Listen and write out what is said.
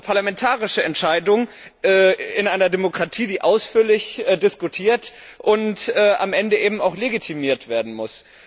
Das ist eine parlamentarische Entscheidung in einer Demokratie, die ausführlich diskutiert und am Ende auch legitimiert werden muss.